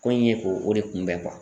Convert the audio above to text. Ko in ye k'o o de kunbɛn